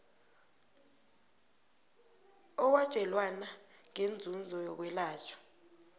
owatjelwana ngeenzuzo zokwelatjhwa